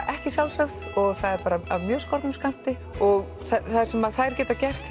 ekki sjálfsagt og er af mjög skornum skammti og það sem þær geta gert